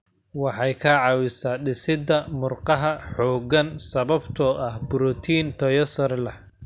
Waxay ka caawisaa dhisidda murqaha xooggan sababtoo ah borotiinno tayo sare leh.